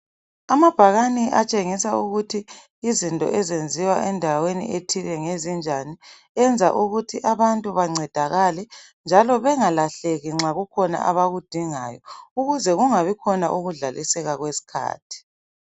Amabhakane atshengisa ukuthi izinto ezenziwa endaweni ethile ngezinjani. Enza ukuthi abantu bancedakale njalo bengalahleki nxa kukhona abakudingayo .Ukuze kungabikhona ukudlaliseka kwesikhathi.